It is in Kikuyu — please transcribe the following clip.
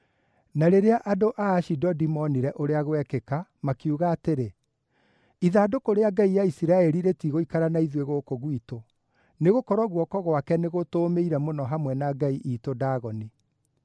Na rĩrĩa andũ a Ashidodi moonire ũrĩa gwekĩka, makiuga atĩrĩ, “Ithandũkũ rĩa ngai ya Isiraeli rĩtigũikara na ithuĩ gũkũ gwitũ, nĩgũkorwo guoko gwake nĩgũtũũmĩire mũno hamwe na ngai iitũ Dagoni.”